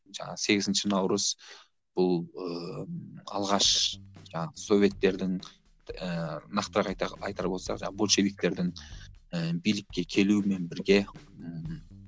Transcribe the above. жаңағы сегізінші наурыз бұл ыыы алғаш жаңағы советтердің ыыы нақтырақ айтар айтар болсақ жаңағы большевиктердің ыыы билікке келуімен бірге ыыы